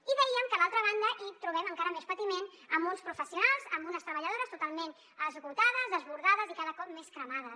i dèiem que a l’altra banda hi trobem encara més patiment amb uns professionals amb unes treballadores totalment esgotades desbordades i cada cop més cremades